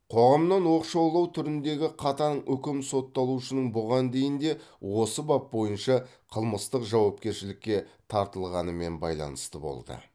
қоғамнан оқшаулау түріндегі қатаң үкім сотталушының бұған дейін де осы бап бойынша қылмыстық жауапкершілікке тартылғанымен байланысты болды